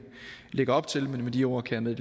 lægger op til men med de ord kan jeg